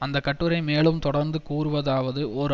அந்த கட்டுரை மேலும் தொடர்ந்து கூறுவதாவது ஓர்